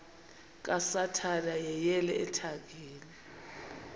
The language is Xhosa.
kasathana yeyele ethangeni